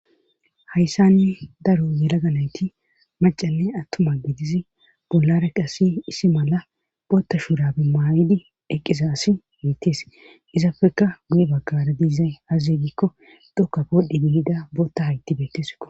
Hayssanni daro yelaga nayti macalle attuma gidizi bollara qasi isi mala bootta shuurabi maayidi eqqiza asi miittees izapfeka guye baggara diizay hazzyegikko dhokka boodhdhi dilida bootta hayti beetteeso.